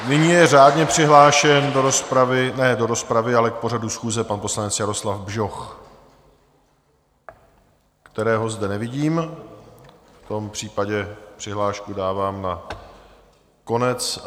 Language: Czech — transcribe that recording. Nyní je řádně přihlášen do rozpravy, ne do rozpravy, ale k pořadu schůze, pan poslanec Jaroslav Bžoch, kterého zde nevidím, v tom případě přihlášku dávám na konec.